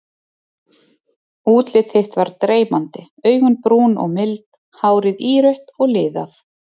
Útlit þitt var dreymandi, augun brún og mild, hárið írautt og liðað.